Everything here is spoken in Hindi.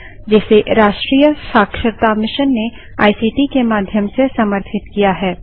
जिसे भारत सरकार के एमएचआरडी मंत्रालय के राष्ट्रीय शिक्षा मिशन ने आईसीटी के माध्यम से समर्थित किया है